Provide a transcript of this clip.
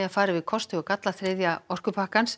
að fara yfir kosti og galla þriðja orkupakkans